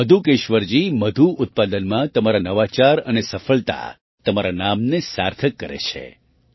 મધુકેશ્વરજી મધુ ઉત્પાદનમાં તમારા નવાચાર અને સફળતા તમારા નામને સાર્થક કરે છે